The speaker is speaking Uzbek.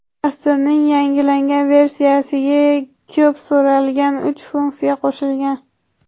Dasturning yangilangan versiyasi ga ko‘p so‘ralgan uch funksiya qo‘shilgan.